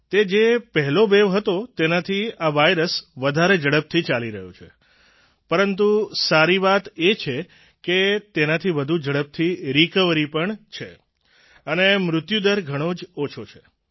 તે જે પહેલો વેવ હતો તેનાથી આ વાયરસ વધારે ઝડપથી ચાલી રહ્યો છે પરંતુ સારી વાત એ છે કે તેનાથી વધુ ઝડપથી રિકવરી પણ છે અને મૃત્યુદર ઘણો જ ઓછો છે